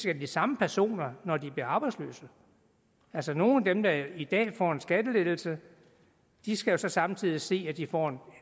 af de samme personer når de blev arbejdsløse altså nogle af dem der i dag får en skattelettelse skal jo så samtidig se at de får